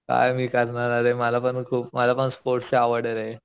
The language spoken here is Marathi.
काय मी करणार आरे मला पण खूप मला पण स्पोर्ट्स ची आवडे रे